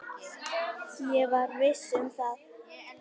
Ég var viss um það.